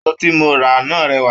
Aṣọ tí mo rà náà rẹwà.